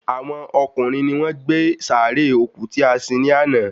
Àwọn ọkùnrin ni wọ́n gbé sàárè òkú tí a sin ní àná